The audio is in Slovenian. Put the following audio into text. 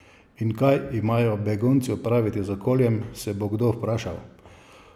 In kaj imajo begunci opraviti z okoljem, se bo kdo vprašal?